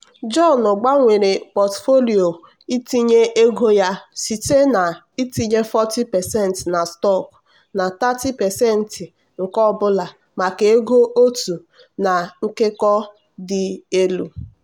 john gbanwere pọtụfoliyo itinye ego ya site na-itinye 40% na stọkụ na 30% nke ọ bụla maka ego otu na nkekọ dị elu.